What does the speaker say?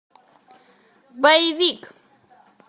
боевик